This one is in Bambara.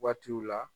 Waatiw la